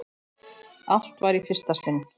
Allt var í fyrsta sinn.